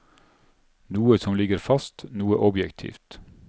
Noe som ligger fast, noe objektivt.